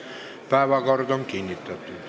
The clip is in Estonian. Päevakord on kinnitatud.